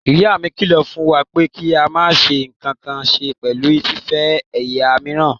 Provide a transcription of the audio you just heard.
Ìyá mi kílọ̀ fún wa pé kí a máa ní ǹkankan ṣe pẹ̀lú fífẹ́ ẹ̀yà míìràn.